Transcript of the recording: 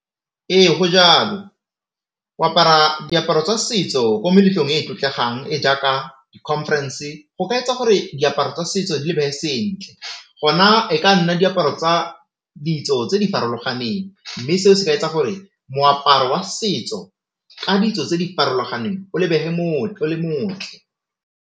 Ee go jalo o apara diaparo tsa setso ko meletlong e e tlotlegang e jaaka di-conference go ka etsa gore diaparo tsa setso di lebege sentle gona e ka nna diaparo tsa ditso tse di farologaneng mme seo se ka etsa gore moaparo wa setso ka ditso tse di farologaneng o lebege o le motle.